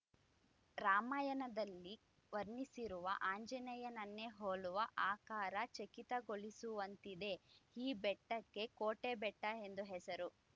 ರಾಮಾಯಣದಲ್ಲಿ ವರ್ಣಿಸಿರುವ ಆಂಜನೇಯನನ್ನೇ ಹೋಲುವ ಆಕಾರ ಚಕಿತಗೊಳಿಸುವಂತಿದೆ ಈ ಬೆಟ್ಟಕ್ಕೆ ಕೋಟೆಬೆಟ್ಟಎಂದು ಹೆಸರು